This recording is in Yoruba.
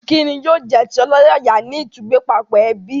Ìkíni yóò jẹ́ ti ọlọ́yàyà ní ìtúgbẹ́pápọ̀ ẹbí